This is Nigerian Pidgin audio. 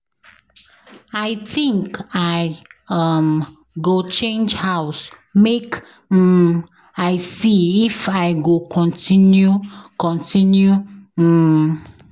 I think I um go change house make um I see if I go continue continue um.